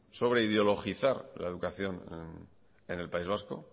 sobre ideologizar la educación en el país vasco